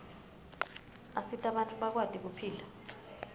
asita bantfu bakwati kuphila